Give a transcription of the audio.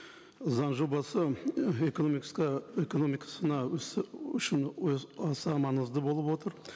заң жобасы экономикасына үшін аса маңызды болып отыр